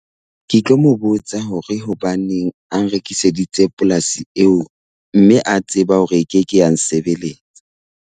Ke tlo mo botsa hore hobaneng a nrekiseditse polasi eo mme a tseba hore e keke ya nsebelletsa.